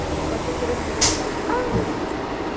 Então, pode ser que eu entre no carro e fale, ah, esqueci de dizer...